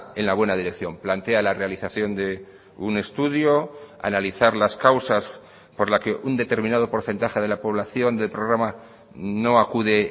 en la buena dirección plantea la realización de un estudio analizar las causas por la que un determinado porcentaje de la población del programa no acude